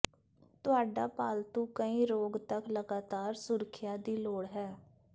ਤੁਹਾਡਾ ਪਾਲਤੂ ਕਈ ਰੋਗ ਤੱਕ ਲਗਾਤਾਰ ਸੁਰੱਖਿਆ ਦੀ ਲੋੜ ਹੈ